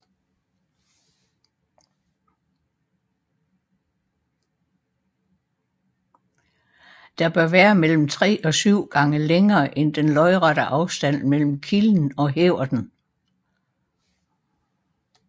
Det bør være mellem 3 og 7 gange længere end den lodrette afstand mellem kilden og hæverten